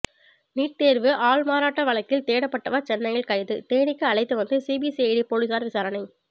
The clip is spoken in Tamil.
நீட் தேர்வு ஆள்மாறாட்ட வழக்கில் தேடப்பட்டவர் சென்னையில் கைது தேனிக்கு அழைத்து வந்து சிபிசிஐடி போலீசார் விசாரணை